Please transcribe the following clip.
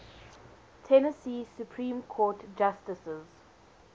tennessee supreme court justices